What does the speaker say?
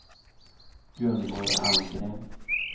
Gunvor Almgren